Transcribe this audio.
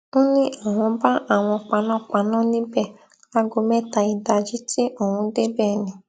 ó ní àwọn bá àwọn panápaná níbẹ láago mẹta ìdájí tí òun débẹ ni